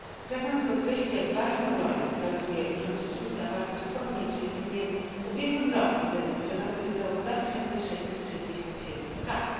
Pragnąc podkreślić, jak ważną rolę sprawuje urząd rzecznika warto wspomnieć, że jedynie w ubiegłym roku zarejestrowanych zostało 2667 skarg.